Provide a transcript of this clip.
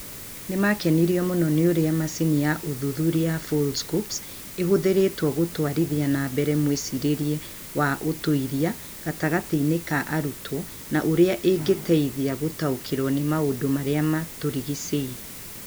Nĩ maakenirio mũno nĩ ũrĩa macini ya ũthuthuria ya Foldscopes ĩhũthĩrĩtwo gũtwarithia na mbere mwĩcirĩrie wa ũtuĩria gatagatĩ-inĩ ka arutwo na ũrĩa ĩngĩteithia gũtaũkĩrũo nĩ maũndũ marĩa matũrigicĩirie